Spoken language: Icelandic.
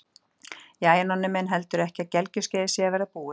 Jæja, Nonni minn, heldurðu ekki að gelgjuskeiðið sé að verða búið?